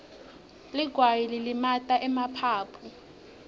ligwayi lilimata emaphaphu